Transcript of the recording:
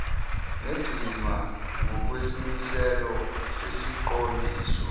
negcinwa ngokwesimiselo sesiqondiso